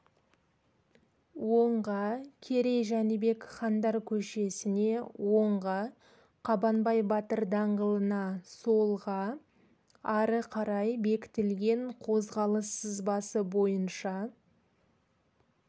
оңға керей-жәнібек хандар көшесіне оңға қабанбай батыр даңғылына солға ары қарай бекітілген қозғалыс сызбасы бойынша